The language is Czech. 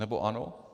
Nebo ano?